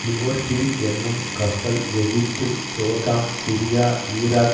liberty என்னும் கப்பல் Egypt Jordan Syria Iraq